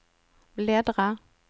bläddra